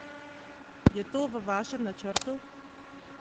Je to v vašem načrtu?